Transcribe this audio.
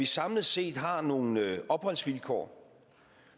samlet set har nogle opholdsvilkår